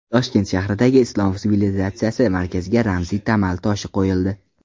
Toshkent shahridagi Islom sivilizatsiyasi markaziga ramziy tamal toshi qo‘yildi.